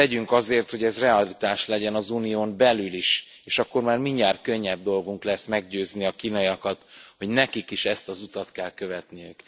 Tegyünk azért, hogy ez realitás legyen az Unión belül is, és akkor már mindjárt könnyebb dolgunk lesz meggyőzni a kínaiakat, hogy nekik is ezt az utat kell követniük.